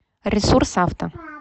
ресурсавто